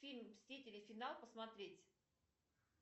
фильм мстители финал посмотреть